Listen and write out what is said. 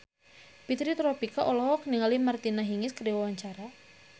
Fitri Tropika olohok ningali Martina Hingis keur diwawancara